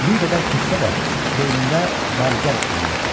Bir qədər keçsə də, beynində var gəl eləyirdi.